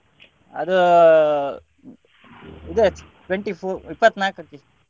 ಅದು ಇದು twenty four ಇಪ್ಪತ್ನಾಲ್ಕಕ್ಕೆ.